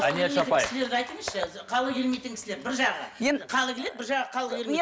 дәнеш апай айтыңызшы халі келмейтін кісілер бір жағы халі келеді бір жағы халі келмейді